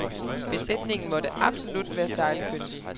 Besætningen måtte absolut være sejlkyndig.